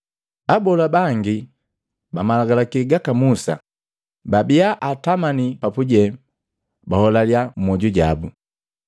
Abola bangi ba malagalaki gaka Musa babia atamani papuje baholalya mmwoju jabu,